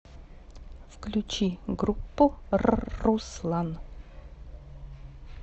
включи группу рруслан